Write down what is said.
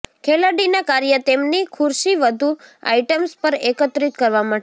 ખેલાડીના કાર્ય તેમની ખુરશી વધુ આઇટમ્સ પર એકત્રિત કરવા માટે